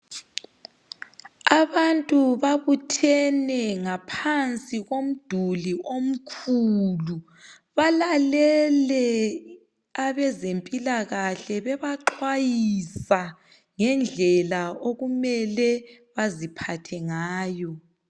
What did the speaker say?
Abantu babuthene ngaphansi komduli omkhulu. Balalele abezempilakahle bebaxwayisa ngendlela okumele baziphathe ngayo